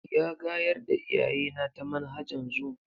Ya gayar da iyayena ta manhajan zoom.